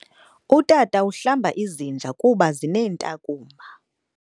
Utata uhlamba izinja kuba zineentakumba.